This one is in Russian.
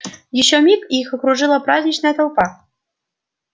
ещё миг и их окружила праздничная толпа